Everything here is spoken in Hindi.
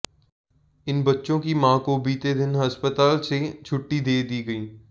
इन बच्चों की मां को बीते दिन अस्पताल से छुट्टी दे दी गई